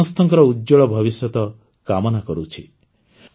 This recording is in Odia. ମୁଁ ସମସ୍ତଙ୍କର ଉଜ୍ଜ୍ୱଳ ଭବିଷ୍ୟତ କାମନା କରୁଛି